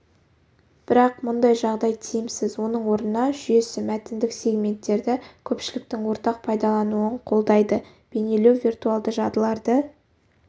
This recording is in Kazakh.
бірақ мұндай жағдай тиімсіз оның орнына жүйесі мәтіндік сегменттерді көпшіліктің ортақ пайдалануын қолдайды бейнелеу виртуалды жадыларды